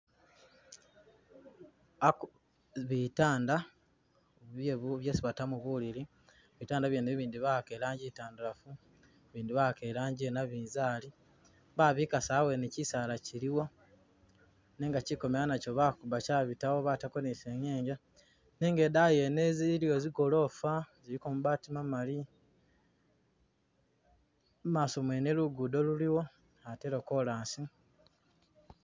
Aaku.. bitaanda byebu byesi batamo bulili bitaanda byeene e bindi bawaaka rangi i'ntandalafu bindi bawaaka rangi yenabizali, babikaasa aweene chisaala chiliwo nenga chikomela nacho baakuba chaabitawo batako ni'sinyenge nenga i'daayi yene iliyo bigoloofa ziliko mabati mamali, i'maaso mwene lugudo luliwo ate lwakolaasi